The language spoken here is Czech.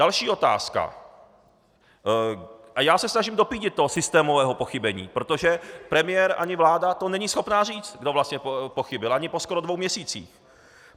Další otázka, a já se snažím dopídit toho systémového pochybení, protože premiér ani vláda to není schopna říct, kdo vlastně pochybil, ani skoro po dvou měsících.